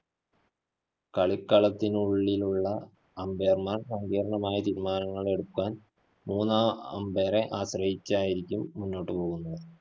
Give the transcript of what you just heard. കളിക്കളത്തിനുള്ളിലുള്ള umpire മാര്‍ സങ്കീര്‍ണ്ണമായ തീരുമാനങ്ങളെടുത്താല്‍, മൂന്നാം umpire റെ ആശ്രയിച്ചായിരിക്കും മുന്നോട്ട് പോകുന്നത്.